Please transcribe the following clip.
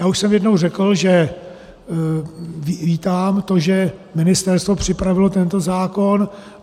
Já už jsem jednou řekl, že vítám to, že ministerstvo připravilo tento zákon.